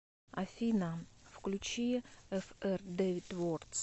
афина включи эфэр дэвид вордс